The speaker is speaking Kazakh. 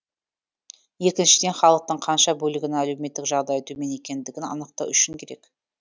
екіншіден халықтың қанша бөлігінің әлеуметтік жағдайы төмен екендігін анықтау үшін керек